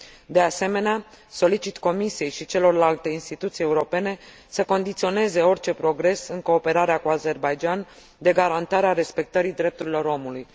De asemenea, solicit Comisiei și celorlalte Instituții Europene să condiționeze orice progres în cooperarea cu Azerbaidjan de garantarea respectării drepturilor omului.